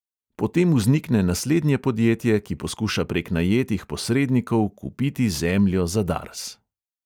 Potem vznikne naslednje podjetje, ki poskuša prek najetih posrednikov kupiti zemljo za dars.